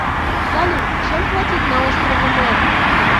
салют чем платить на острове мэн